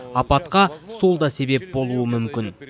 апатқа сол да себеп болуы мүмкін